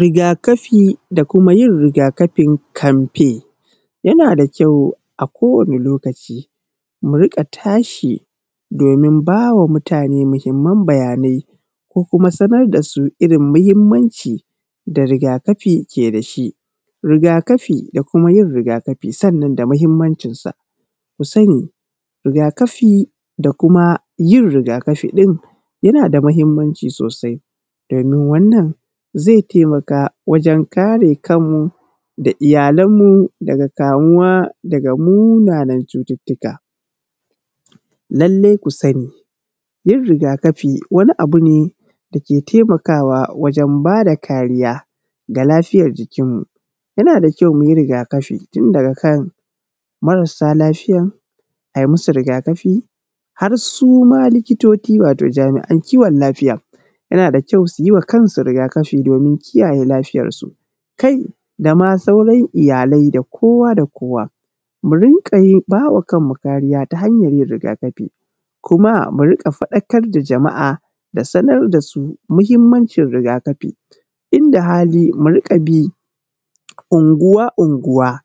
Rigaƙafi da kuma yin rigaƙafin kamfe, yana da kyau a kowane lokaci muriƙa tashi domin bawa mutane muhimman bayanai ko kuma sanar da su irin muhimmanci da rigaƙafi da ke da shi, rigaƙafi da kuma yin rigaƙafi sannan da muhimmancin sa, ku sani rigaƙafi da kuma yin rigaƙafin yana da muhimmanci sosai domin wannan zai taimaka wajen kare kanmu da iyalanmu daga kamuwa daga munanan cututtuka, lallai ku sani yin rigakafi wani abu ne dake taimakawa wajen bada kariya ga lafiyar jikinmu, yana da kyau muyi rigaƙafi tun daga kan marasa lafiyan ayi musu rigaƙafi har suma likitoci wato jami’an kiwon lafiya yana da kyau suyi wa kansu rigaƙafi domin kiyaye lafiyar su, kai dama sauran iyalai da kowa da kowa, mu rinka bawa kanmu kariya ta hanyar yin rigaƙafi kuma mu rika faɗakar da jama’a da sanar da su muhimmancin rigaƙafi, inda hali mu rika bi unguwa-unguwa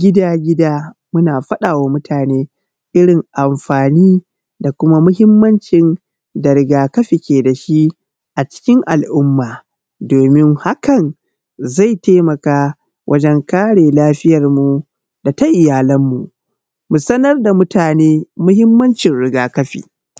gida-gida muna faɗawa mutane irin amfani da kuma muhimmancin da rigaƙafi ke da shi a cikin al’umma domin haka zai taimaka wajen kare lafiyanmu da ta iyalanmu, mu sanar da mutane muhimmancin rigaƙafi.